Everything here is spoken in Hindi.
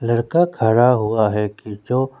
लड़का खड़ा हुआ है कि जो--